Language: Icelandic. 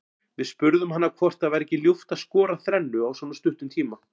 Við spurðum hana hvort það væri ekki ljúft að skora þrennu á svona stuttum tíma.